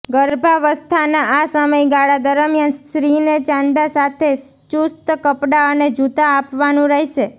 ગર્ભાવસ્થાના આ સમયગાળા દરમિયાન સ્ત્રીને ચાંદા સાથે ચુસ્ત કપડાં અને જૂતા આપવાનું રહેશે